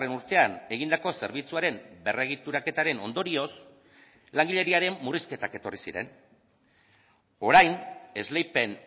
urtean egindako zerbitzuaren berregituraketaren ondorioz langileriaren murrizketak etorri ziren orain esleipen